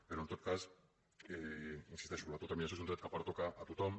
però en tot cas hi insisteixo l’autodeterminació és un dret que pertoca a tothom